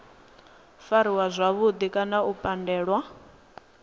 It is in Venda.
fariwa zwavhudi kana u pandelwa